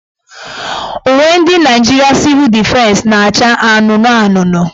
Uwe ndị Nigeria Civil Defense naacha anụnụanụnụ.